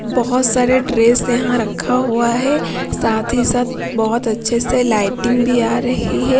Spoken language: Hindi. बहुत सारे ड्रेस यहां रखा हुआ है साथ ही साथ बहुत अच्छे से लाइटिंग भी आ रही है।